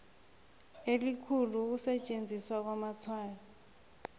elikhulu ukusetjenziswa kwamatshwayo